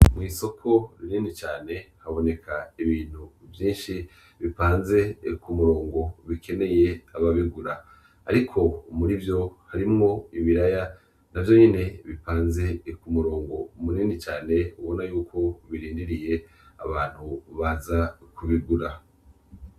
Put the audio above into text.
Isoko rinini cane haboneka ibintu vyishi bipanze k'umurongo bikeneye ababigura ariko murivyo harimwo ibiraya navyonyene bipanze k'umurongo munini cane ubona yuko birindiriye abantu baza kubigura